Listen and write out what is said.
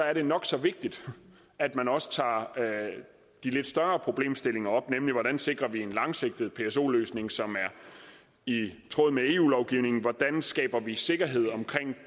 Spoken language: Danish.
er det nok så vigtigt at man også tager de lidt større problemstillinger op nemlig hvordan vi sikrer en langsigtet pso løsning som er i tråd med eu lovgivningen hvordan vi skaber sikkerhed omkring